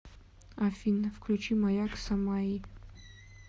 афина включи маяк самаи